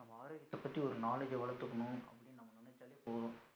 நம்ம ஆரோக்கியத பத்தி ஒரு நாளைக்கு எவ்வளோ நம்ம நினசாலே போதும்